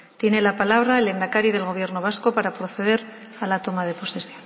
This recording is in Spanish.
tiene la palabra el lehendakari del gobierno vasco para proceder a la toma de posesión